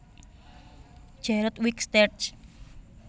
Jared Wicks terj